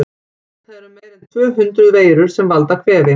Vitað er um meira en tvö hundruð veirur sem valda kvefi.